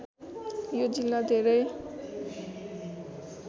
यो जिल्ला धेरै